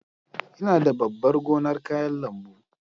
Ina da babban gonar kayan lambu.